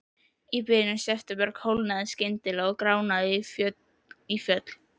Í byrjun september kólnaði skyndilega og gránaði í fjöll.